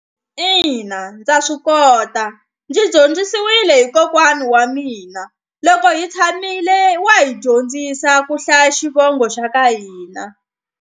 Ina ndza swi kota ndzi dyondzisiwile hi kokwana wa mina loko hi tshamile wa hi dyondzisa ku hlaya xivongo xa ka hina.